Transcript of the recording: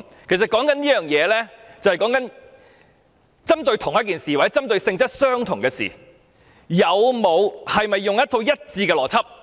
其實，這是針對相同的事情或性質相同的事情，是否使用一套一致的邏輯，